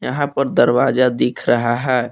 यहां पर दरवाजा दिख रहा है।